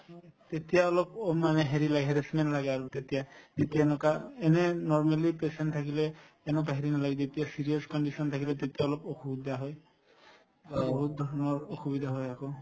তেতিয়া অলপ অ মানে হেৰি লাগে harassment লাগে আৰু তেতিয়া তেতিয়া এনেকুৱা এনে normally patient থাকিলে এনেকুৱা হেৰি নালাগে যেতিয়া serious condition থাকিলে তেতিয়া অলপ অসুবিধা হয় অ বহুতধৰণৰ অসুবিধা হয় আকৌ